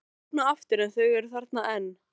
Og opna aftur en þau eru þarna enn.